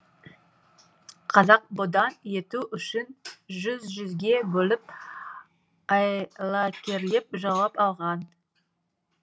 қазақты бодан ету үшін жүз жүзге бөліп айлакерлеп жаулап алған